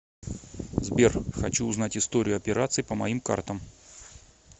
сбер хочу узнать историю операций по моим картам